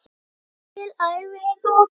Mikilli ævi er lokið.